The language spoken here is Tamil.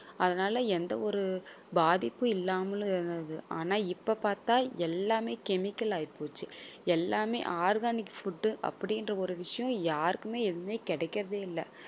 அதனால எந்த ஒரு பாதிப்பும் இல்லாமலும் இருந்தது ஆனால் இப்ப பார்த்தால் எல்லாமே chemical ஆயிப்போச்சு எல்லாமே organic food உ அப்படின்ற ஒரு விஷயம் யாருக்குமே எதுவுமே கிடைக்கிறதே இல்ல